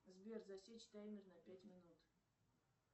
сбер засечь таймер на пять минут